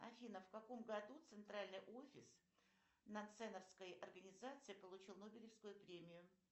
афина в каком году центральный офис наценовской организации получил нобелевскую премию